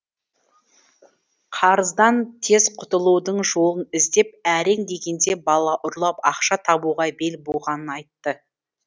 қарыздан тез құтылудың жолын іздеп әрең дегенде бала ұрлап ақша табуға бел буғанын айтты